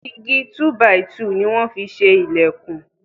Igi túbàìtù ni wọ́n fi ṣe ìlẹ̀kùn.